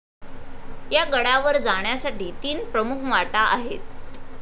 या गडावर जाण्यासाठी तीन प्रमुख वाटा आहेत